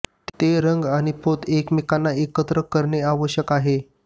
ते रंग आणि पोत एकमेकांना एकत्र करणे आवश्यक आहे